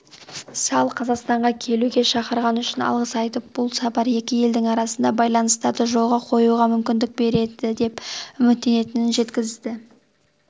салл қазақстанға келуге шақырғаны үшін алғыс айтып бұл сапар екі елдің арасындағы байланыстарды жолға қоюға мүмкіндік береді деп үміттенетінін жеткізді